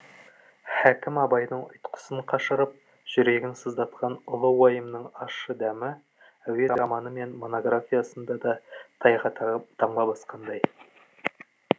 хәкім абайдың ұйтқысын қашырып жүрегін сыздатқан ұлы уайымының ащы дәмі әуезовтің әйгілі романы мен монографиясында да тайға таңба басқандай